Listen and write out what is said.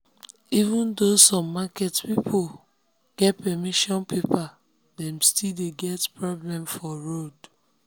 even though some market people get permission paper dem still dey get problem for road.